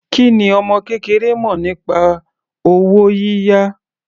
Kí ni ọmọ kékeré mọ̀ nípa owó yíyá?